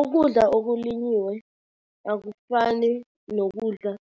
Ukudla okulinyiwe akufani nokudla